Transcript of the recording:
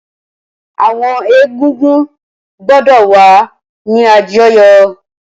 Awọn egúngún gbọdọ wa ni àjọyọ!